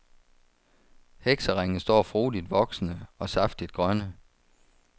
Hekseringe står frodigt voksende, og saftigt grønne.